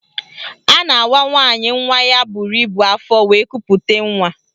A na-awa nwaanyị nwa ya buru ibu afọ wee kupute nwa